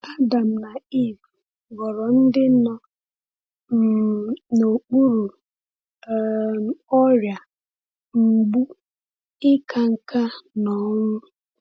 Adam na Ivụ ghọrọ ndị nọ um n’okpuru um ọrịa, mgbu, ịka nká, na ọnwụ.